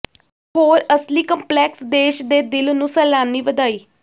ਹੋਰ ਅਸਲੀ ਕੰਪਲੈਕਸ ਦੇਸ਼ ਦੇ ਦਿਲ ਨੂੰ ਸੈਲਾਨੀ ਵਧਾਈ